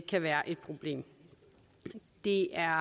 kan være et problem det er